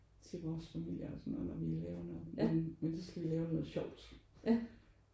Til vores familier og sådan noget når vi laver noget men men der skal vi lave noget sjovt